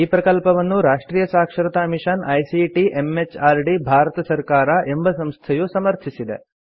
ಈ ಪ್ರಕಲ್ಪವನ್ನು ರಾಷ್ಟ್ರಿಯ ಸಾಕ್ಷರತಾ ಮಿಷನ್ ಐಸಿಟಿ ಎಂಎಚಆರ್ಡಿ ಭಾರತ ಸರ್ಕಾರ ಎಂಬ ಸಂಸ್ಥೆಯು ಸಮರ್ಥಿಸಿದೆ